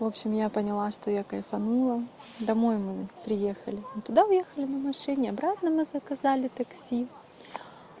в общем я поняла что я кайфанула домой мы приехали туда уехали на машине и обратно мы заказали такси